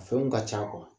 A fɛnw ka ca